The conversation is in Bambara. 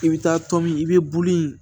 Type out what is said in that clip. I bɛ taa tɔmi i bɛ bulu in